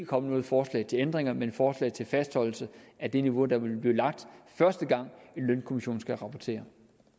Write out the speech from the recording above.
komme noget forslag til ændringer men et forslag til fastholdelse af det niveau der vil blive lagt første gang en lønkommission skal rapportere